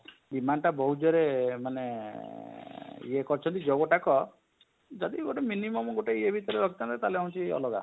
demand ଟା ବହୁତ ଜୋର ରେ ମାନେ ଅଁ ଅଁ ଅଁ ଇଏ କରିଛନ୍ତି ଯୋଉଟାକ ଯଦି ଗୋଟେ minimum ଗୋଟେ ଇଏ ଭିତରେ ରଖିଥାନ୍ତେ ତାହାହେଲେ ହଉଛି ଅଲଗା